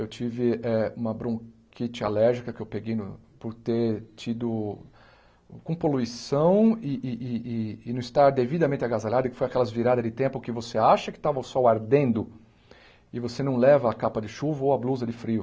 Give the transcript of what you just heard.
Eu tive eh uma bronquite alérgica que eu peguei no por ter tido com poluição e e e e não estar devidamente agasalhado, que foi aquelas viradas de tempo que você acha que estava o sol ardendo e você não leva a capa de chuva ou a blusa de frio.